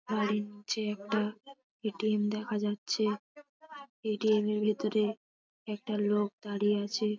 বাড়ির নিচে একটা এ.টি.এম. দেখা যাচ্ছে। এ.টি.এম. -এর ভেতরে একটা লোক দাঁড়িয়ে আছে।